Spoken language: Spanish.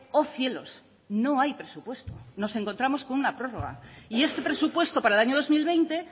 oh cielos no hay presupuesto nos encontramos con una prórroga y este presupuesto para el año dos mil veinte